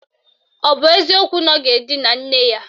Ọ bụ eziokwu na ọ ga-edina nne ya?